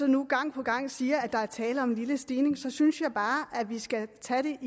nu gang på gang siger at der er tale om en lille stigning så synes jeg bare at vi skal tage